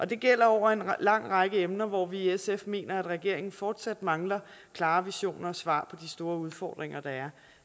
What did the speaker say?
det gælder over en lang række emner hvor vi i sf mener at regeringen fortsat mangler klare visioner og svar de store udfordringer der